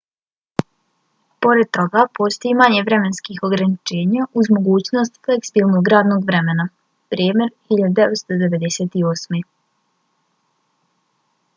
pored toga postoji manje vremenskih ograničenja uz mogućnost fleksibilnog radnog vremena. bremer 1998